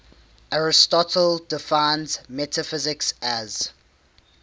aristotle defines metaphysics as